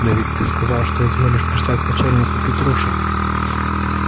да ведь ты сказал что изволишь писать к начальнику петруши